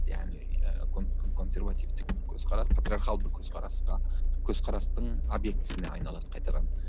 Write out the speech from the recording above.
яғни ы консервативтік көзқарас патриархалдық көзқарасқа көзқарастың обьектісіне айналады қайтадан